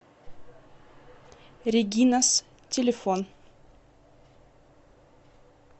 регинас телефон